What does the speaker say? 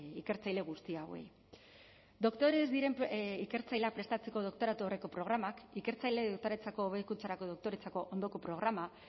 ikertzaile guzti hauei doktore ez diren ikertzaileak prestatzeko doktoratu aurreko programak ikertzaileen hobekuntzarako doktoretzako ondoko programa